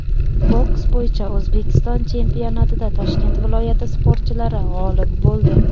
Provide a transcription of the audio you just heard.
Boks bo‘yicha O‘zbekiston chempionatida Toshkent viloyati sportchilari g‘olib bo‘ldi.